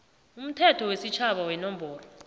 umthetho wesitjhaba wenomboro